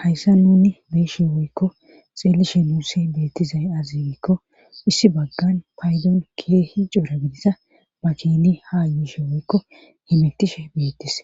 hayssa nuni be'ishe woykko xeellishe nuuse beettizay aze gikko issi baggan paydon keehi coora gidiza makini ha yishe woykko himetishe beettis